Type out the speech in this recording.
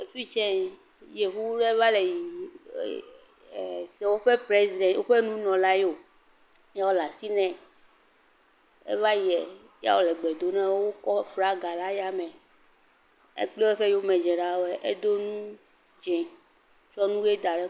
Efi tse yevu aɖe va le yiyi, eeeeee. Se woƒe preziden.., woƒe nunɔla yewo ye wole asi nɛ ya wole gbe dom nɛ, wotsɔ aflaga ɖe ayame ekple eyomedzelawoe, edo nu dzɛ̃. Tsɔ nu ʋe da ɖe.